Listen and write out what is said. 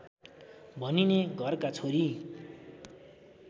भनिने घरका छोरी